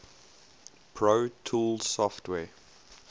pro tools software